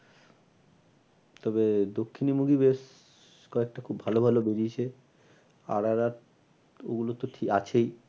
তবে দক্ষিণি movie বেশ কয়েকটা খুব ভালো ভালো বেরিয়েছে। আর আর আর ওগুলো তো আছেই।